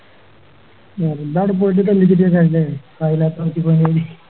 വെറുതെ